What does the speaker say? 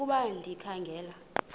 ukuba ndikha ngela